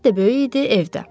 Həyət də böyük idi, evdə.